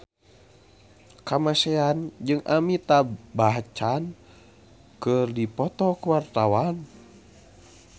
Kamasean jeung Amitabh Bachchan keur dipoto ku wartawan